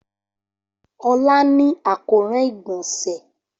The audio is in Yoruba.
Ola ni akoran igbonse.